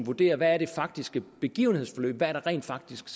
vurderer hvad det faktiske begivenhedsforløb er hvad der rent faktisk